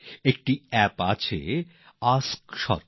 একটি অ্যাপ আছে আস্ক সরকার